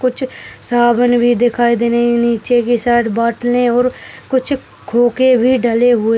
कुछ साबुन भी दिखाई दे रहनी नीचे के साइड बाटले और कुछ खोके भी डले हुए --